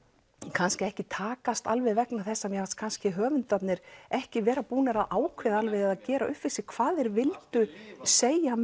kannski ekki takast alveg vegna þess að mér fannst kannski höfundarnir ekki búnir að ákveða eða gera upp við sig hvað þeir vildu segja